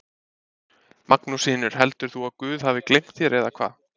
Magnús Hlynur: Heldur þú að guð hafi gleymt þér eða hvað?